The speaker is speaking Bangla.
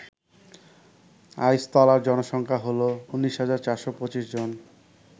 আইসতলার জনসংখ্যা হল ১৯,৪২৫ জন